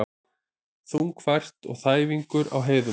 Þungfært og þæfingur á heiðum